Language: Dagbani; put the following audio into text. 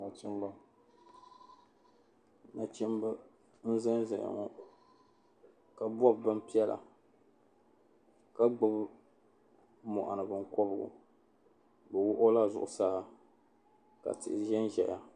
Nachimba nachimba n zanza ya ŋɔ ka bobi bin piɛla ka gbubi moɣuni binkɔbigu bɛ wuhi o la zuɣu saa ka tihi ʒenʒeya.